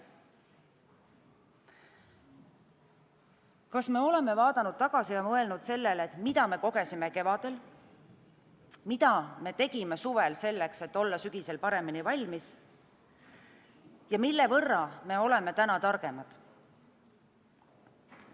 Kas me oleme vaadanud tagasi ja mõelnud sellele, mida me kogesime kevadel, mida me tegime suvel, selleks et olla sügisel paremini valmis, ja mille võrra me oleme täna targemad?